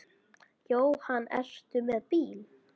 Jóhann: Ertu með bíl?